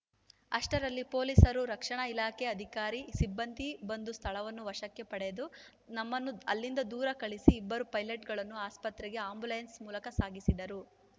ಅಷ್ಟರಲ್ಲಿ ಪೊಲೀಸರು ರಕ್ಷಣಾ ಇಲಾಖೆ ಅಧಿಕಾರಿ ಸಿಬ್ಬಂದಿ ಬಂದು ಸ್ಥಳವನ್ನು ವಶಕ್ಕೆ ಪಡೆದು ನಮ್ಮನ್ನು ಅಲ್ಲಿಂದ ದೂರ ಕಳಿಸಿ ಇಬ್ಬರು ಪೈಲಟ್‌ಗಳನ್ನು ಆಸ್ಪತ್ರೆಗೆ ಆ್ಯಂಬುಲೆನ್ಸ್‌ ಮೂಲಕ ಸಾಗಿಸಿದರು